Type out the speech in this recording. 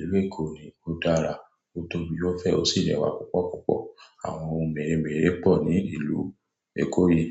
ìlú Èkó ni ó dára, ó tóbi, ó fẹ́, ó sì lẹ́wa púpọ̀púpọ̀. Àwọn ohun mèremère pọ̀ ní ìlú Èkó yìí.